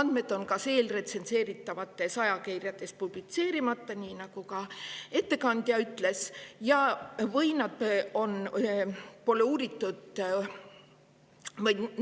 Andmed on kas eelretsenseeritavates ajakirjades publitseerimata, nii nagu ka ettekandja ütles, või